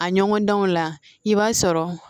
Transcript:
A ɲɔgɔndanw la i b'a sɔrɔ